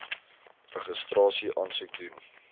registrasie aansoek doen